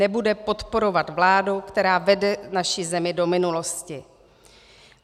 Nebude podporovat vládu, která vede naši zemi do minulosti.